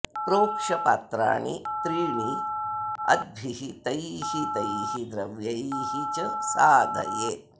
प्रोक्ष्य पात्राणि त्रीणि अद्भिः तैः तैः द्रव्यैः च साधयेत्